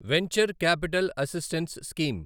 venture capital assistance scheme